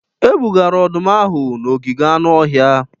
E bugara ọdụm ahụ n'ogige anụ ọhịa